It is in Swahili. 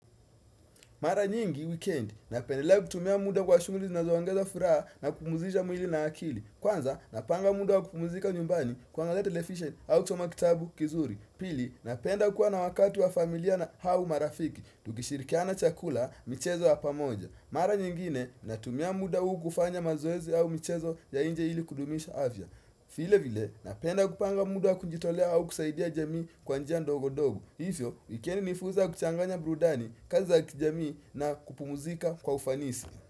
Mara nyingi, weekend, napendelea kutumia muda kwa shughuli zinazoongeza furaha na kupumzija mwili na akili. Kwanza, napanga muda wa kupumuzika nyumbani kuangalea television au kusoma kitabu kizuri. Pili, napenda kuwa na wakati wa familia na hau marafiki, tukishirikiana chakula, michezo hapa moja. Mara nyingine, natumia muda u kufanya mazoezi au michezo ya inje ili kudumisha avya. File vile, napenda kupanga muda wa kujitolea au kusaidia jamii kwa njia ndogo-dogo. Hifyo, wikendi ni furza ya kuchanganya brudani, kazi za kijamii na kupumuzika kwa ufanisi.